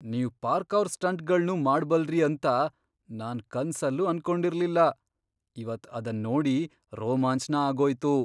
ನೀವ್ ಪಾರ್ಕೌರ್ ಸ್ಟಂಟ್ಗಳ್ನೂ ಮಾಡ್ಬಲ್ರಿ ಅಂತ ನಾನ್ ಕನ್ಸಲ್ಲೂ ಅನ್ಕೊಂಡಿರ್ಲಿಲ್ಲ, ಇವತ್ ಅದನ್ನೋಡಿ ರೋಮಾಂಚ್ನ ಆಗೋಯ್ತು.